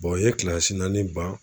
u ye naani ban.